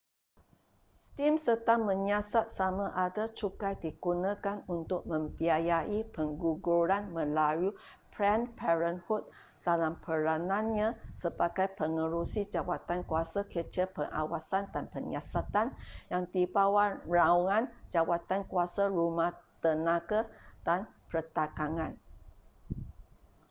steam sedang menyiasat samada cukai digunakan untuk membiayai pengguguran melalui planned parenthood dalam peranannya sebagai pengerusi jawatankuasa kecil pengawasan dan penyiasatan yang di bawah naungan jawatankuasa rumah tenaga dan perdagangan